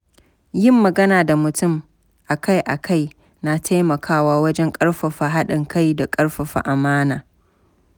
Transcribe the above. Yin magana da mutum akai-akai na taimakawa wajen ƙarfafa haɗin kai da ƙarfafa amana.